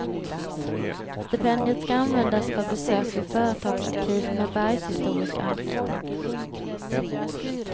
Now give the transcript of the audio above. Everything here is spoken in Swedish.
Stipendiet ska användas för besök vid företagsarkiv med bergshistorisk anknytning.